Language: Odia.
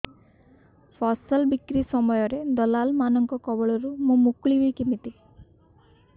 ଫସଲ ବିକ୍ରୀ ସମୟରେ ଦଲାଲ୍ ମାନଙ୍କ କବଳରୁ ମୁଁ ମୁକୁଳିଵି କେମିତି